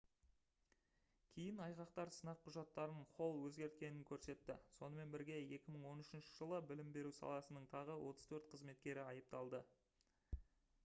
кейін айғақтар сынақ құжаттарын холл өзгерткенін көрсетті сонымен бірге 2013 жылы білім беру саласының тағы 34 қызметкері айыпталды